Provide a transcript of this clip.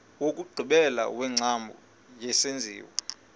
wokugqibela wengcambu yesenziwa